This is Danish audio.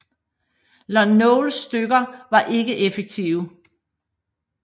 Lon Nols styrker var ikke effektive